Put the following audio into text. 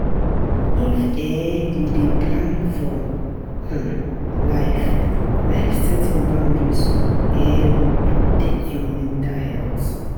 If um you dey plan your um life, life, setting boundaries um go protect your mental health